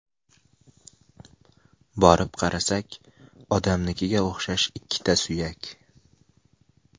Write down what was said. Borib qarasak, odamnikiga o‘xshash ikkita suyak.